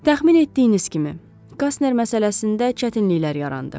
Təxmin etdiyiniz kimi, Qasner məsələsində çətinliklər yarandı.